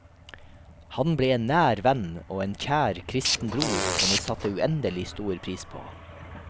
Han ble en nær venn og kjær kristen bror som vi satte uendelig stor pris på.